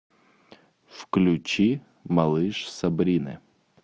включи малыш сабрины